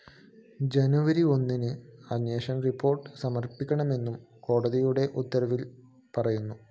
ജനുവരി ഒന്നിന് അന്വേഷണ റിപ്പോർട്ട്‌ സമര്‍പ്പിക്കണമെന്നും കോടതിയുടെ ഉത്തരവില്‍ പറയുന്നു